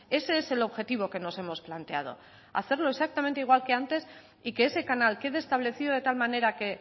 ese es el objetivo que nos hemos planteado hacerlo exactamente igual que antes y que ese canal quede establecido de tal manera que